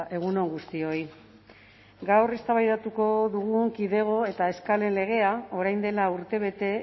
egun on guztioi gaur eztabaidatuko dugun kidego eta eskalen legea orain dela urtebete